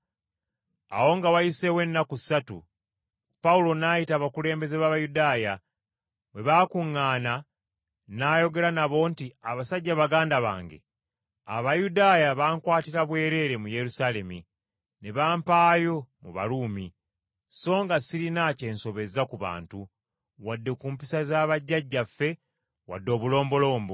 Awo nga wayiseewo ennaku ssatu, Pawulo n’ayita abakulembeze b’Abayudaaya. Bwe baakuŋŋaana n’ayogera nabo nti, “Abasajja baganda bange, Abayudaaya bankwatira bwereere mu Yerusaalemi, ne bampaayo mu Baruumi, so nga sirina ky’ensobezza ku bantu, wadde ku mpisa z’abajjajjaffe wadde obulombolombo.